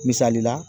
Misali la